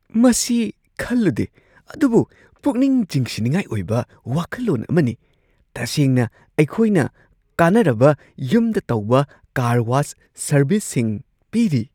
ꯃꯁꯤ ꯈꯜꯂꯨꯗꯦ ꯑꯗꯨꯕꯨ ꯄꯨꯛꯅꯤꯡ ꯆꯤꯡꯁꯤꯟꯅꯤꯡꯉꯥꯏ ꯑꯣꯏꯕ ꯋꯥꯈꯜꯂꯣꯟ ꯑꯃꯅꯤ! ꯇꯁꯦꯡꯅ ꯑꯩꯈꯣꯏꯅ ꯀꯥꯟꯅꯔꯕ ꯌꯨꯝꯗ ꯇꯧꯕ ꯀꯥꯔ ꯋꯥꯁ ꯁꯔꯕꯤꯁꯁꯤꯡ ꯄꯤꯔꯤ ꯫